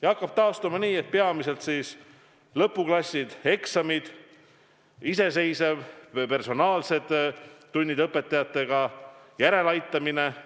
Ja hakkab taastuma peamiselt lõpuklasside osas: eksamid, iseseisev töö või personaalsed tunnid õpetajatega, järeleaitamine.